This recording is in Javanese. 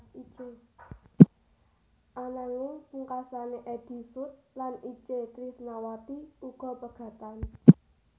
Ananging pungkasané Eddy Sud lan Itje Trisnawati uga pegatan